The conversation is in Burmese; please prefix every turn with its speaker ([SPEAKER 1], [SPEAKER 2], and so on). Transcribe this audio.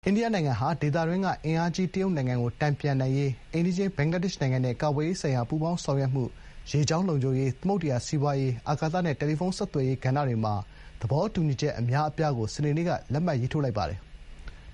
[SPEAKER 1] အိန္ဒိယနိုင်ငံဟာ ဒေသတွင်းက အင်အားကြီး တရုတ်နိုင်ငံကို တန်ပြန်နိုင်ရေး အိမ်နီးချင်း ဘင်္ဂလားဒေ့ရှ်နိုင်ငံနဲ့ ကာကွယ်ရေးဆိုင်ရာ ပူးပေါင်း ဆောင်ရွက်မှု၊ ရေကြောင်းလုံခြုံရေး၊ သမုဒ္ဒရာစီးပွားရေး၊ အာကာသနဲ့ တယ်လီဖုန်း ဆက်သွယ်ရေးကဏ္ဍတွေမှာ သဘောတူညီချက်အများအပြားကို စနေနေ့က လက်မှတ်ရေးထိုးလိုက်ပါတယ်။